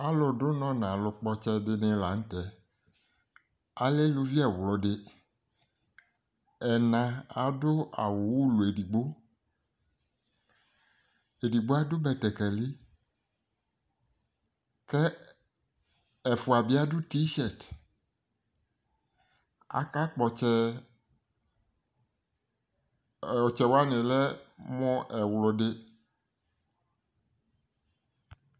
ɔlʋ dʋnɔ nɔlʋ kpɔtsɛdɩnɩ lanʋ tɛ alɛ elʋvɩ ɛwlʋdɩ ɛna adʋ awʋ ʋlɔ edɩgbo edɩgbo adʋ bɛtɛkɛlɩ kɛ ɛfʋa bɩ adʋ tɩshɛt akakpɔ ɔtsɛ ɔtsɛ wanɩ lɛ mʋ ɛwlʋdɩ